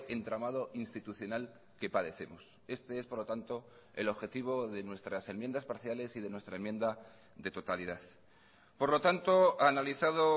entramado institucional que padecemos este es por lo tanto el objetivo de nuestras enmiendas parciales y de nuestra enmienda de totalidad por lo tanto analizado